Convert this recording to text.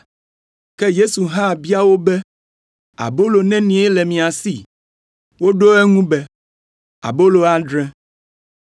Ke Yesu hã bia wo be, “Abolo nenie le mia si?” Woɖo eŋu be, “Abolo adre.”